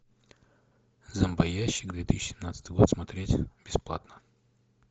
зомбоящик две тысячи семнадцатый год смотреть бесплатно